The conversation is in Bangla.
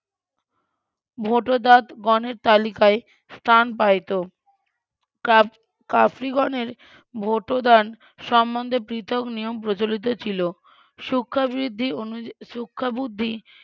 ভোটদান গণের তালিকায় স্থান পাইত কাফ্রি ~ কাফ্রিগনের ভোটদান সম্বন্ধে পৃথক নিয়ম প্রচলিত ছিল সুক্রাবৃদ্ধি অনুযায়ীই সুক্কাবুদ্ধি